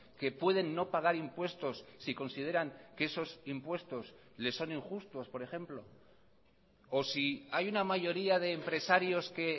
que pueden no pagar impuestos si consideran que esos impuestos le son injustos por ejemplo o si hay una mayoría de empresarios que